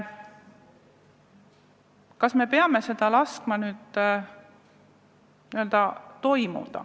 Kas me peame laskma sellel toimuda?